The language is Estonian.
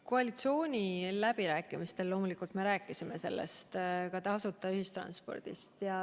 Koalitsiooniläbirääkimistel me loomulikult rääkisime sellest, ka tasuta ühistranspordist.